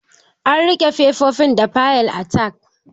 An rike fefofin da fayil tag